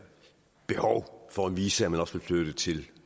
behov for at vise at man også vil flytte ting